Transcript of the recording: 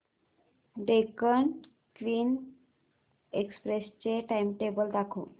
Deccan queen express चे timetable दाखव